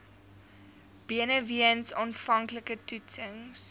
benewens aanvanklike toetsings